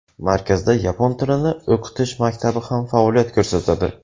Markazda yapon tilini o‘qitish maktabi ham faoliyat ko‘rsatadi.